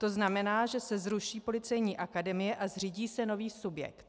To znamená, že se zruší Policejní akademie a zřídí se nový subjekt.